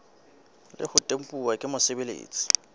le ho tempuwa ke mosebeletsi